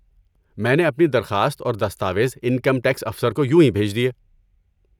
میں نے اپنی درخواست اور دستاویز انکم ٹیکس افسر کو یونہی بھیج دیے۔